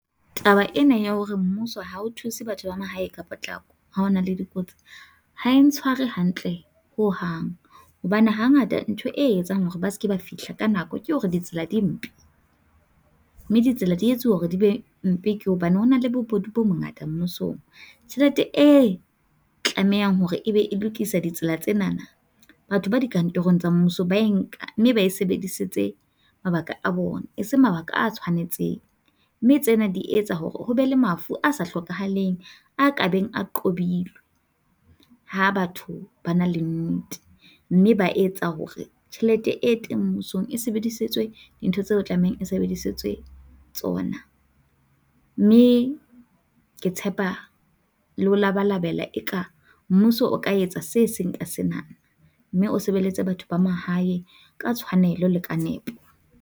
Taba ena ya hore mmuso ha o thuse batho ba mahae ka potlako ha hona le dikotsi ha ntshware hantle ho hang hobane hangata ntho e etsang hore ba se ke ba fihla ka nako, ke hore di tsela di mpe mme ditsela di etsuwa hore di be mpe ke hobane ho na le bobodu bo bongata mmusong. Tjhelete e tlamehang hore ebe e lokisa ditsela tsena batho ba dikantorong tsa mmuso ba e nka ba e sebedisetse mabaka a bona, e seng mabaka a tshwanetseng, mme tsena di etsa hore ho be le mafu a sa tlhokahaleng, a kabeng a qobile ha batho ba na le nnete mme ba etsa hore tjhelete e teng mmusong e sebedisitswe dintho tseo e tlamehang e sebedisitswe tsona, mme ke tshepa le ho labalabela eka mmuso o ka etsa se seng ka sena mme o sebeletse batho ba mahae ka tshwanelo le ka nepo.